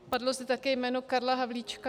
Padlo zde také jméno Karla Havlíčka.